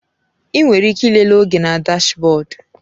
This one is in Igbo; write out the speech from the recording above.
Ị nwere ike ịlele oge na dashbọdu.